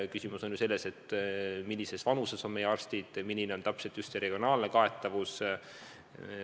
Küsimus on ju selles, millises vanuses on meie arstid ja milline täpselt on regionaalne kaetavus.